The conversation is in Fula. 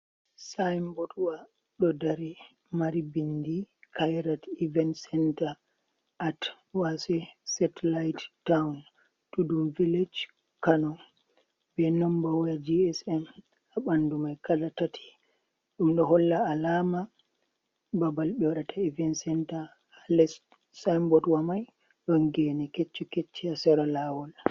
Sinbotwa ɗo dari mari bindi khairat event center at wase satelite town tudun village kano, be number waya gsm ha ɓandu mai kala tati, ɗum ɗo holla alama babal ɓe waɗata event center ha les sinbotwa mai ɗon gene kecce kecce ha sera lawol.